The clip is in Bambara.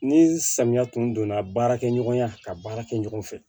Ni samiya tun donna baarakɛɲɔgɔnya ka baara kɛ ɲɔgɔn fɛ